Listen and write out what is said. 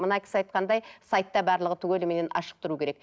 мына кісі айтқандай сайтта барлығы түгеліменен ашық тұруы керек